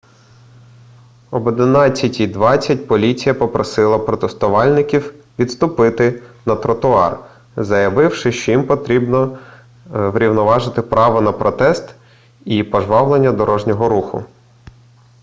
об 11:20 поліція попросила протестувальників відступити на тротуар заявивши що їм потрібно врівноважити право на протест і пожвавлення дорожнього руху